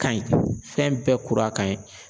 Ka ɲi fɛn bɛɛ kura ka ɲi.